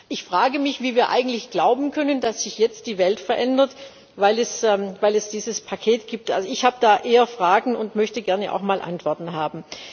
Ich frage mich, wie wir eigentlich glauben können, dass sich jetzt die Welt verändert, weil es dieses Paket gibt. Ich habe da eher Fragen und möchte gerne auch mal Antworten haben.